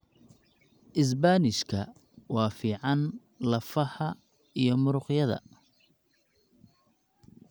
Isbaanishka waa fiican lafaha iyo muruqyada.